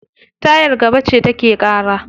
Tayar gaba ce take ƙara.